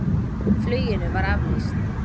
Fluginu var aflýst.